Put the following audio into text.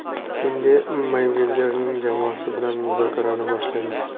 Endi Meyvezerning jamoasi bilan muzokarani boshlaymiz.